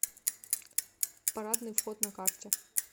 парадный вход на карте